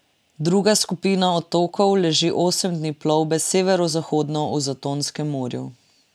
Druga skupina otokov leži osem dni plovbe severozahodno v Zatonskem morju.